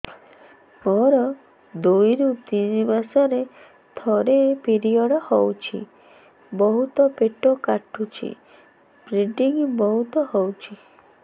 ମୋର ଦୁଇରୁ ତିନି ମାସରେ ଥରେ ପିରିଅଡ଼ ହଉଛି ବହୁତ ପେଟ କାଟୁଛି ବ୍ଲିଡ଼ିଙ୍ଗ ବହୁତ ହଉଛି